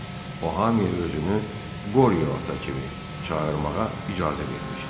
O hamıya özünü Qoriyo ata kimi çağırmağa icazə vermişdi.